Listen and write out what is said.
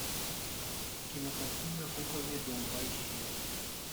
кинокартина кукольный дом поищи